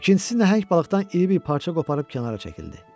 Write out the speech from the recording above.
İkincisi nəhəng balıqdan iri bir parça qoparıb kənara çəkildi.